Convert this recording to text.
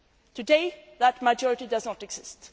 Council. Today, that majority does